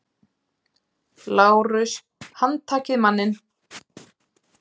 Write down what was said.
LÁRUS: Handtakið manninn!